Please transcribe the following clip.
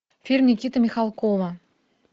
фильм никиты михалкова